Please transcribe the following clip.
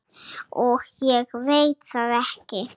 Og ég veit það ekki.